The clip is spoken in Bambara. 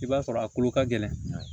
I b'a sɔrɔ a kolo ka gɛlɛn